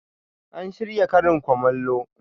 An shirya karin kumallo.